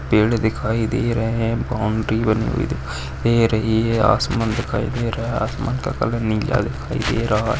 पेड़ दिखाई दे रहे है बाउंड्री बनी हुई दिखा ई दे रही है आसमान दिखाई दे रहा है आसमान का कलर नीला दिखाई दे रहा--